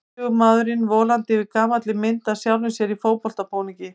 Tvítugur maðurinn volandi yfir gamalli mynd af sjálfum sér í fótboltabúningi.